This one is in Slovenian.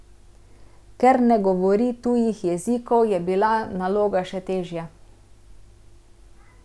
Ker ne govori tujih jezikov, je bila naloga še težja.